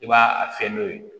I b'a a fɛn n'o ye